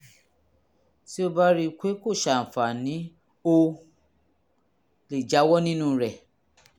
tó o bá rí i pé kò ṣàǹfààní o lè jáwọ́ nínú rẹ̀